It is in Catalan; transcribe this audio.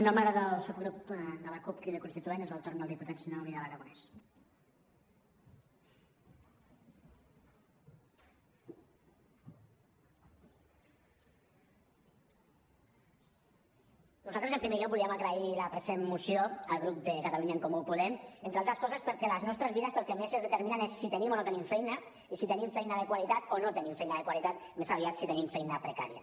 nosaltres en primer lloc volíem agrair la present moció al grup de catalunya en comú podem entre altres coses perquè les nostres vides pel que més es determinen és per si tenim o no tenim feina i si tenim feina de qualitat o no tenim feina de qualitat més aviat si tenim feina precària